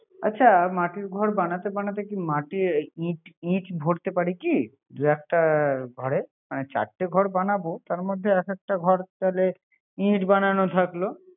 আচ্ছা মাটির ঘর বানাতে বানাতে কি মাটি কি ইট ভরতে পারি কি। দুই একটা ঘরে। মানে চারটে ঘর বানাবো তার এক একটা ঘর তাহলে ইট বানানো থাকলো